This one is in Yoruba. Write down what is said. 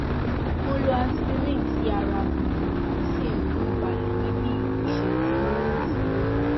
mo lo aspirin tí ara um mí sì um balẹ ní bí iìṣẹjú márùndínlógún